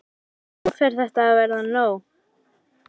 En nú fer þetta að verða nóg.